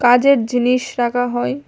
কাজের জিনিস রাখা হয়।